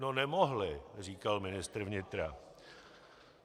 No nemohli, říkal ministr vnitra.